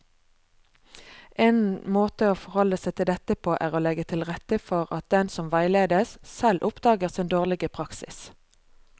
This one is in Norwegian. En måte å forholde seg til dette på er å legge til rette for at den som veiledes, selv oppdager sin dårlige praksis.